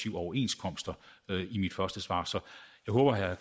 en overenskomst og at